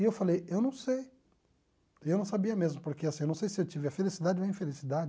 E eu falei, eu não sei, eu não sabia mesmo, porque assim eu não sei se eu tive a felicidade ou a infelicidade,